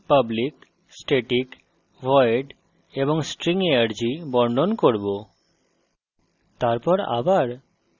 আমরা অন্য tutorial public static void এবং string arg বর্ণন করব